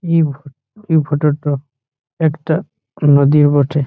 You you photo টো একটা নদীর বটে।